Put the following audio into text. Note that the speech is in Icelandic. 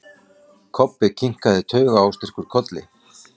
Kobbi kinkaði taugaóstyrkur kolli.